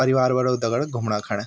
परिवार वालो दगड घूमणा खणे।